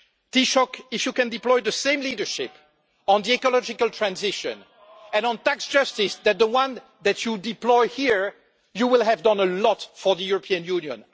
Taoiseach, if you can deploy the same leadership on ecological transition and on tax justice as the one that you have deployed here, you will have done a lot for the European Union.